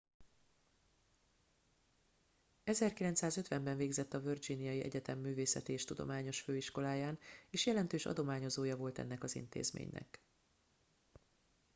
1950 ben végzett a virginiai egyetem művészeti és tudományos főiskoláján és jelentős adományozója volt ennek az intézménynek